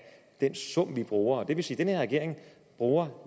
den sum vi bruger og det vil sige at den her regering bruger